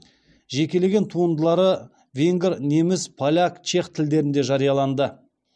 жекелеген туындылары венгр неміс поляк чех тілдерінде жарияланды